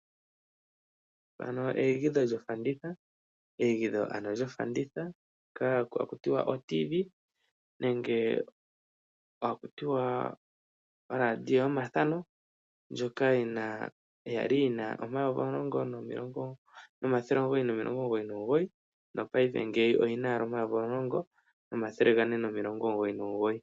Eyigidho lyofanditha, oTV nenge tu tye oradio yomathano ndjoka ya li yina N$ 10,999 ngaashi ngika oyi na owala N$ 10,499.